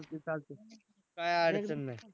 चालतंय चालतंय काय अडचण नाही.